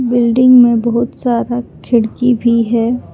Building में बहुत सारा खिड़की भी है।